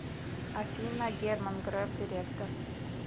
афина герман греф директор